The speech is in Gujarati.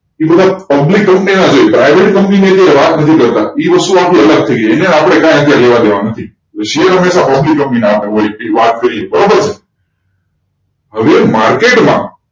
Publiccompany ના જો private company ની વાત નથી કરતા એ વસ્તુ આખી અલગ થઇ ગઈ એને આપણે કંઈ અત્યારે લેવાદેવા નથી શેર હમેશા company ના હોય વાત કરી બરોબર ને હવે market માં